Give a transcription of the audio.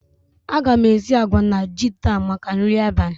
A ga m esi àgwà na ji taa maka nri abalị